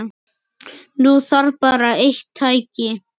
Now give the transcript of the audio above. Nú þarf bara eitt tæki.